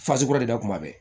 kura de da kun ma bɛn